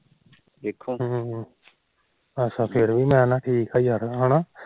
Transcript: ਹਮ ਅੱਛਾ ਫਿਰ ਵੀ ਮੈ ਨਾ ਠੀਕ ਆ ਯਾਰ ਹਮ